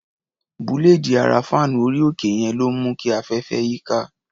Búléèdì ara fáànù orí-òkè yẹn ló ń mú kí afẹ́fẹ́ yíká.